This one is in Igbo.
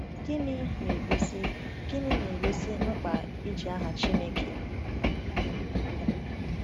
Gịnị na-egosi Gịnị na-egosi mkpa iji aha Chineke?